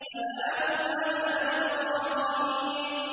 سَلَامٌ عَلَىٰ إِبْرَاهِيمَ